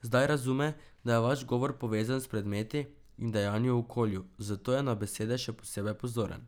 Zdaj razume, da je vaš govor povezan s predmeti in dejanji v okolju, zato je na besede še posebej pozoren.